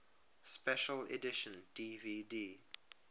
special edition dvd